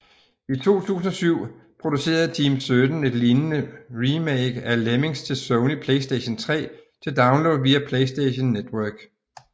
I 2007 producerede Team17 et lignende remake af Lemmings til Sony PlayStation 3 til download via PlayStation Network